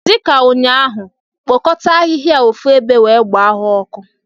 Dị ka ụnyaahụ, kpokọta ahịhịa a ofu ebe wee gbaa ha ọkụ!